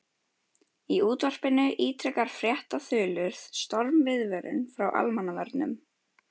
Í útvarpinu ítrekar fréttaþulur stormviðvörun frá Almannavörnum.